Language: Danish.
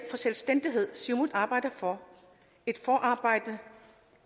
selvstændighed siumut arbejder for et forarbejde